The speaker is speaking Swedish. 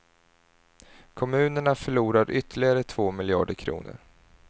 Kommunerna förlorar ytterligare två miljarder kronor.